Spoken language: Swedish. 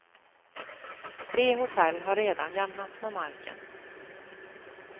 Tre hotell har redan jämnats med marken.